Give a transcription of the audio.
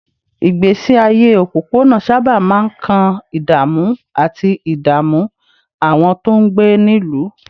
Ìgbésí ayé òpópónà sábà máa ń kan ìdààmú àti ìdààmú àwọn tó ń gbé nílùú